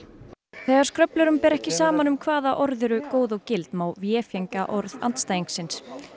þegar ber ekki saman um hvaða orð eru góð og gild má orð andstæðingsins